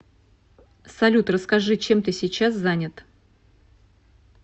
салют расскажи чем ты сейчас занят